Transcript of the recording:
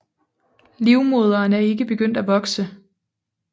Livmoderen er ikke begyndt at vokse